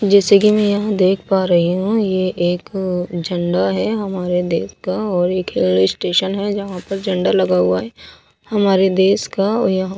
जैसे कि मैं यहां देख पा रही हूं ये एक झंडा है हमारे देश का और एक रेलवे स्टेशन है जहां पे झंडा लगा हुआ है हमारे देश का और यहां--